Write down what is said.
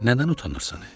Nədən utanırsan?"